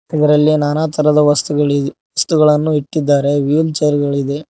ಇದರಲ್ಲಿ ನಾನಾ ತರದ ವಸ್ತುಗಳಿ ವಸ್ತುಗಳನ್ನು ಇಟ್ಟಿದ್ದಾರೆ ವೀಲ್ ಚೇರ್ ಗಳಿದೆ.